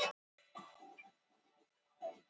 og edrú í þokkabót.